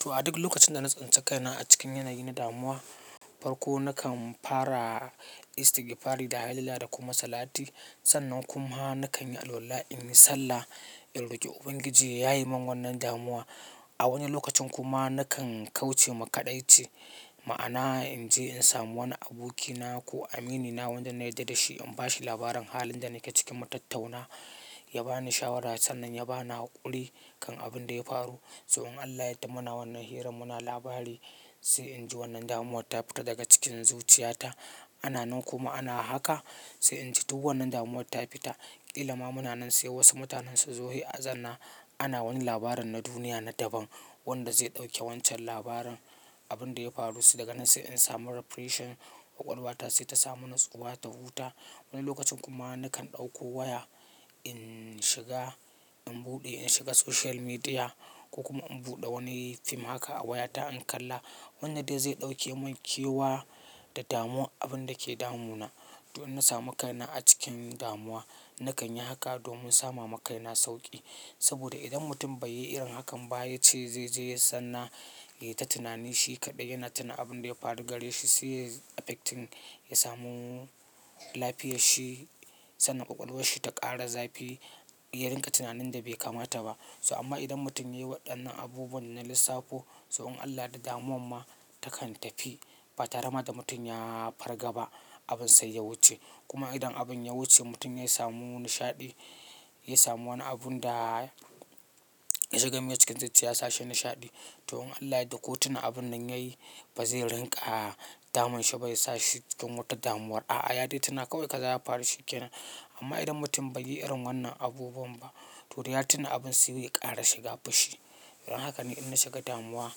To a duk lokacin da na tsinci kaina a cikin yanayi na damuwa, farko nakan fara istigifari da hailala da kuma salati. Sannan kuma nakan yi alwala in yi sallah, in roƙi Ubangiji ya yaye min wannan damuwa. A wani lokacin kuma nakan kauce makaɗaice, ma'ana in je in samu wani abokina ko aminina wanda na yarda da shi in ba shi labarin halin da nake ciki, mutattauna, ya ba ni shawara sannan ya ba ni haƙuri kan abin da ya faru. Sai un Allah yadda mana wannan hirar muna labari sai in ji wannan damuwar ta fita daga cikin zuciyata. Ana nan kuma ana haka sai in ji duk wannan damuwar ta fita. Kila ma muna nan sai wasu mutanen su zo sai a zanna ana wani labarin na duniya na daban wanda zai ɗauke wancan labarin, abin da ya faru su daga nan sai in samu refreshen ƙwaƙwalwata sai ta samu natsuwa ta huta. Wani lokacin kuma nakan ɗauko waya in shiga in buɗe in shiga social media kuma in buɗe wani fim haka a wayata in kalla, wanda dai zai ɗauke mun kewa da damuwar abin da ke damuna. To in na samu kaina a cikin damuwa, nakan yi haka domin sama ma kaina sauƙi. Saboda idan mutum bai yi irin hakan ba, ya ce zai je ya sanna ya yi ta tunani shi kaɗai yana tuna abin da ya faru gare shi sai ya affecting ya samu lafiyar shi sannan ƙwaƙwalwar shi ta ƙara zafi, ya rinƙa tunanin da bai kamata ba. So amma idan mutum ya yi waɗannan abubuwan na lissafo sai in Allah da damuwar ma takan tafi ba tare ma da mutum ya farga ba abin sai ya wuce. Kuma idan abin ya wuce mutum ya samu nishaɗi, ya samu wani abun da ya shiga mai cikin zuciya ya sa shi nishaɗi. To in Allah ya yadda, ko tun abin da ya yi ba zai rinƙa damun shi ba ya sa shi cikin wata damuwar. A'a, ya dai tuna kawai ƙaza ya faru shi ke nan. Amma idan mutum bai yi irin wannan abubuwan ba to dai ya tuna abin sai ya ƙara shiga fushi. Don haka ne inna shiga damuwa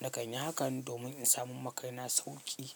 nakan yi haka domin in samun ma kai na sauƙi.